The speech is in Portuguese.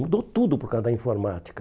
Mudou tudo por causa da informática.